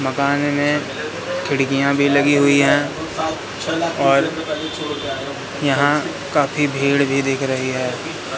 मकान में खिड़कियां भी लगी हुई है और यहां काफी भीड़ भी दिख रही है।